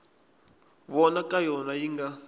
vona ka yona yi nga